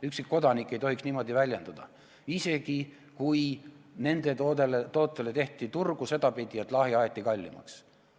Ükski kodanik ei tohiks niimoodi väljenduda, isegi kui nende toodetele tehti turgu sel moel, et lahja alkohol aeti kallimaks.